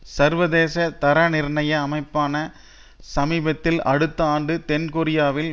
சர்வதேச தரநிர்ணய அமைப்பான சமீபத்தில் அடுத்த ஆண்டு தென் கொரியாவில்